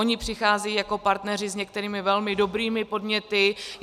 Oni přicházejí jako partneři s některými velmi dobrými podněty.